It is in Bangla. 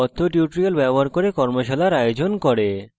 কথ্য tutorials ব্যবহার করে কর্মশালার আয়োজন করে